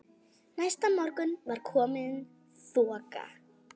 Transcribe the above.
Næsta morgun var komin þoka.